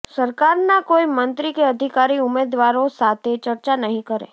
સરકારના કોઈ મંત્રી કે અધિકારી ઉમેદવારો સાથે ચર્ચા નહીં કરે